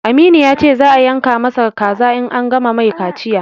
Aminu ya ce za a yanka ma sa kaza in an gama mai kaciya